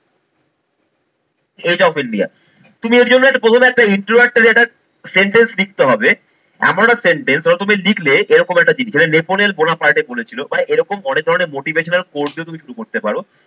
of India তুমি এর জন্য প্রথমে একটা intorductory যেটার sentence লিখতে হবে এমন একটা sentence ওটা তুমি লিখলে এরকম একটা জিনিস এটা নেপোনের বোনা পার্টে বলেছিল মানে এরকম অনেক ধরনের motivational course দিয়ে তুমি শুরু করতে পারো।